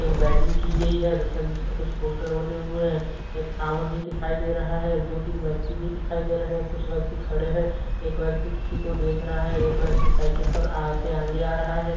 एक बैजइंग की गई है तथा जिस पर कुछ पोस्टर बने हुए हैं एक टावर भी दिखाई दे रहा है दो तीन व्यक्ति भी दिखाई दे रहें हैं कुछ व्यक्ति खड़े है एक व्यक्ति किसी को देख रहा है एक व्यक्ति साइकल पर से आ से आंगे आ रहा है।